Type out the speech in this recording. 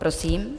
Prosím.